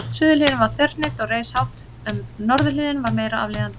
Suðurhliðin var þverhnípt og reis hátt upp en norðurhliðin var meira aflíðandi.